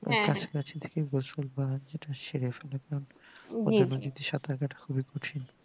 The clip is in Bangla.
এর পাশাপাশি যেটা সেরে ফেলা যাই সাঁতার কাটা খুবই কঠিন